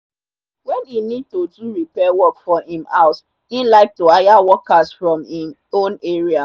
when e need to do repair work for him house e like to hire workers from him own area.